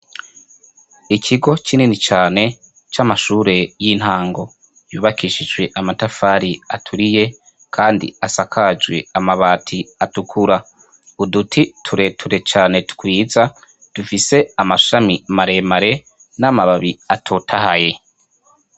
Ikigo kinini cane c'amashure y'intango yubakishijwe amatafari aturiye kandi asakajwe amabati atukura. Uduti tureture cane twiza dufise amashami maremare n'amababi atotahaye.